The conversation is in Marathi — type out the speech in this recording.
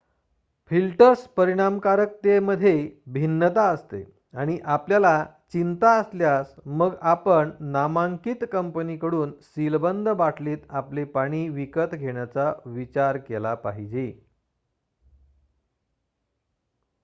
फिल्टर्स परिणामकारकतेमध्ये भिन्नता असते आणि आपल्याला चिंता असल्यास मग आपण नामांकित कंपनीकडून सीलबंद बाटलीत आपले पाणी विकत घेण्याचा विचार केला पाहिजे